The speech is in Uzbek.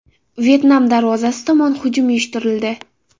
Vyetnam darvozasi tomon hujum uyushtirildi.